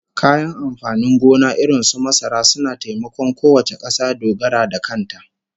Kayan amfanin gona irin su masara suna taimakon kowace kasa dogaro da kanta